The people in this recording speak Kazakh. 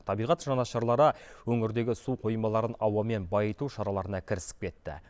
табиғат жанашырлары өңірдегі су қоймаларын ауамен байыту шараларына кірісіп кетті